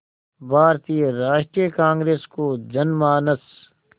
भारतीय राष्ट्रीय कांग्रेस को जनमानस